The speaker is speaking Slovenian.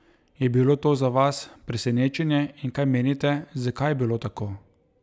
Je bilo to za vas presenečenje in kaj menite, zakaj je bilo tako?